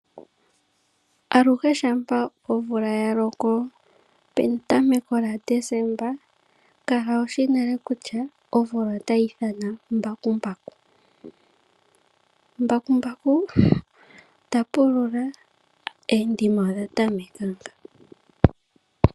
Aluhe shapa omvula ya loko petameko lyaDesemba, kala wushi nale kutya omvula otayi thana mbakumbaku, mbakumbaku ta pulula endima odha tameka ngawo.